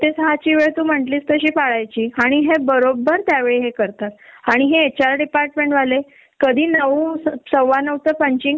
त्यांना physical problem मुळे लवकर जेवायच असेल आणि आपण जातो उशिरा गेलो आणि त्याच्यानंतर केल तर घरात म्हणजे आकाल तांडव होतो सर्व